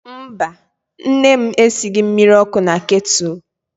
Mba, nne m esighị mmiri ọkụ na ketụlụ.